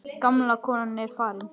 Gamla konan er farin.